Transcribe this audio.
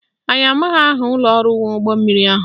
Anyị amaghị aha ụlọọrụ nwe ụgbọmmiri ahụ